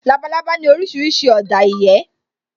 Labalábá ní orísìírísìí ọ̀dà ìyẹ́